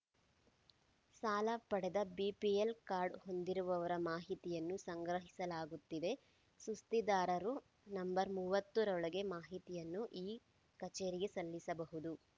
ಸಾಲ ಪಡೆದ BPL card ಹೊಂದಿರುವವರ ಮಾಹಿತಿಯನ್ನು ಸಂಗ್ರಹಿಸಲಾಗುತ್ತಿದೆ ಸುಸ್ತಿದಾರರು ನಂಬರ್ ಮೂವತ್ತರೊಳಗೆ ಮಾಹಿತಿಯನ್ನು ಈ ಕಚೇರಿಗೆ ಸಲ್ಲಿಸಬಹುದು